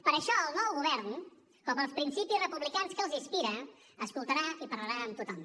per això el nou govern com els principis republicans que l’inspiren escoltarà i parlarà amb tothom